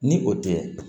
Ni o tɛ